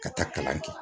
Ka taa kalan kɛ